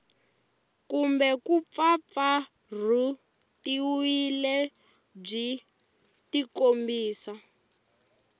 kumbe ku mpfampfarhutiwa byi tikombisa